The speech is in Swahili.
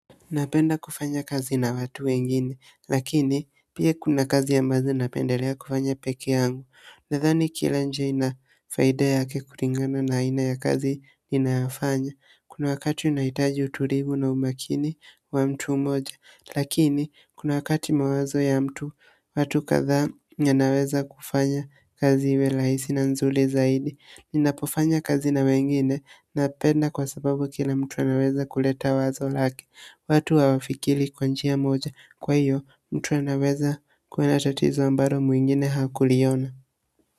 Napenda kufanya kazi na watu wengine, lakini pia kuna kazi ambazo napendelea kufanya peke yangu. Nadhani kila nje inafaida ya kulingana na aina ya kazi ninayofanya. Kuna wakati unahitaji utulivu na umakini wa mtu mmoja, lakini kuna wakati mawazo ya mtu watu kadhaa yanaweza kufanya kazi iwe rahisi na nzuri zaidi. Ninapofanya kazi na wengine na penda kwa sababu kila mtu anaweza kuleta wazo lake. Watu hawafikili kwa njia moja kwa hiyo mtu anaweza kuona tatizo ambalo mwingine hakuliona.